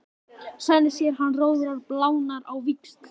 Svenni sér að hann roðnar og blánar á víxl.